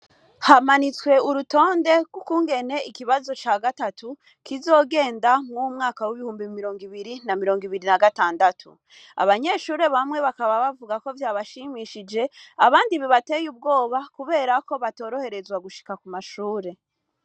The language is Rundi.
Hamanitswe urutonde gw’ukungene ikibazo cagatatu kizogenda muruyu mwaka w’ibihumbi bibiri na mirongo ibiri na gatandatu. Abanyeshuri bamwe bakaba bavugako vyabashimishije , abandi vyabateye ubwoba kubera ko batoroherezwa gushika kw’ishuri.